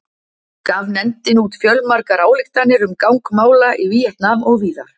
Gaf nefndin út fjölmargar ályktanir um gang mála í Víetnam og víðar.